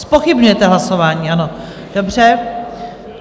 Zpochybňujete hlasování, ano, dobře.